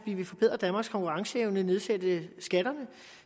vil forbedre danmarks konkurrenceevne og nedsætte skatterne